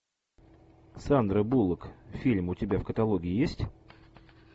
сандра буллок фильм у тебя в каталоге есть